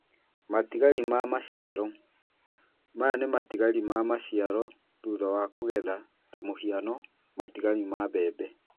Matigari ma maciaro: Maya nĩ matigari ma maciaro thutha wa kũgetha ta mũhiano matigari ma mbembe.